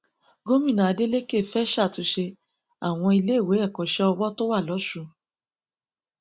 gómìnà adeleke fẹẹ ṣàtúnṣe àwọn iléèwé ẹkọṣẹ ọwọ tó wà lọsùn